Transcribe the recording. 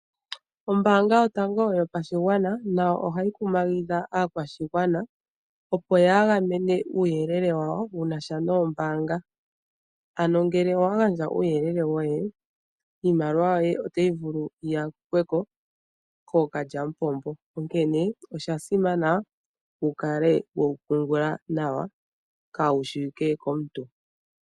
Ombaanga yotango yopashigwana otayi kumagidha aakwashigwana opo yagamene uuyelele wawo shinasha nombaanga dhawo. Ngele wandja uuyelele woye iimaliwa yoye otayi vulu yiyakweko kookalyamupombo , onkene oshasimana wukale wewu pungula nawa , kaawu shiwike komuntu.